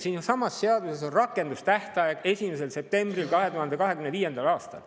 Siinsamas seaduses on rakendustähtaeg 1. september 2025.